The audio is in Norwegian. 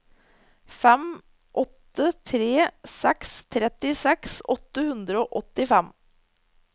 fem åtte tre seks trettiseks åtte hundre og åttifem